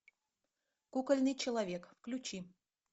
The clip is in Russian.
кукольный человек включи